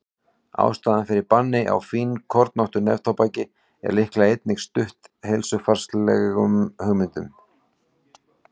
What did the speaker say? ástæðan fyrir banni á fínkornóttu neftóbaki er líklega einnig stutt heilsufarslegum hugmyndum